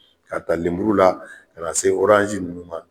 Ka ta lemuru la ka na se oranzi nunnu ma